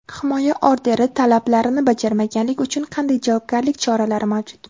Himoya orderi talablarini bajarmaganlik uchun qanday javobgarlik choralari mavjud?.